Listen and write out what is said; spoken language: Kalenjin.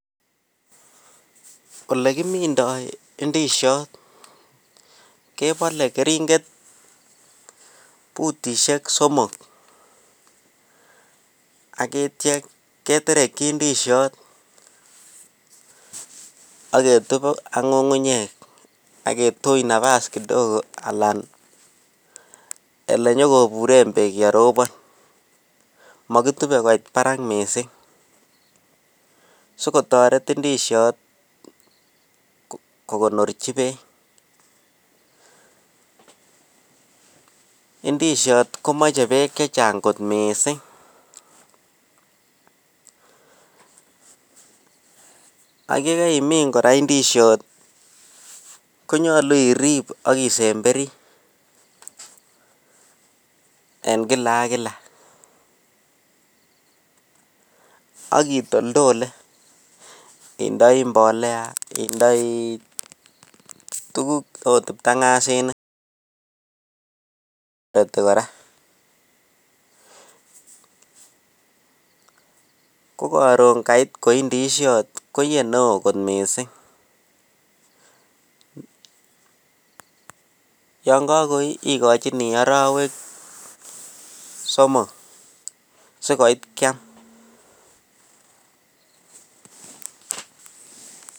Olegimindoo ndisyoot kebole keringet butisyeek somok ak yeityoo keterekyii ndisyoot ak ketub ak ngungunyeek ak kituuch nabass kidogo yenyogobureen beek yerobon mogitube koit baraak miising sigotoret ndisyoot kogonorchi beek ndisyoot komoche beek chechang koot mising ak yegaimiin koraa ndisyoot iih konyoulu iriib ak isemberii en kila ak kila ak itoltole ak imbolea indoii mbolea tuguk oot btangasinik ko karoon koii ndisyoot koiyee neoo kot mising yon kagoii igochinii orowek somok sigoit kyaam